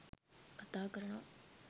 කතා කරනව.